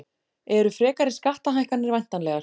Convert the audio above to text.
Eru frekari skattahækkanir væntanlegar